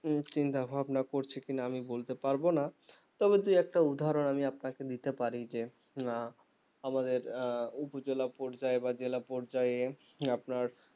উম চিন্তাভাবনা করছে কিনা আমি বলতে পারবো না তবে দু একটা উদহরণ আমি আপনাকে দিতে পারি যে উহ আমাদের আহ উপজেলা পর্যায়ে বা জেলা পর্যায়ে আপনার